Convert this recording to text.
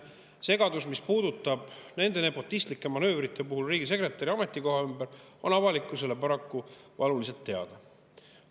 Segadus, mis nende nepotistlike manöövrite puhul riigisekretäri ametikoha ümber, on avalikkusele paraku valuliselt teada.